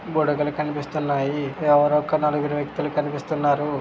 బుడుగలు కనిపిస్తునాయి. ఎవరో ఒక నలుగురు వ్యక్తులు కనిపిస్తునారు.